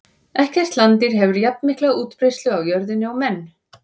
Ekkert landdýr hefur jafnmikla útbreiðslu á jörðinni og menn.